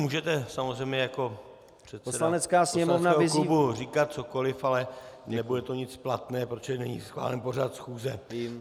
Můžete samozřejmě jako předseda poslaneckého klubu říkat cokoli, ale nebude to nic platné, protože není schválen pořad schůze.